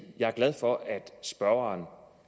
jeg er glad for at spørgeren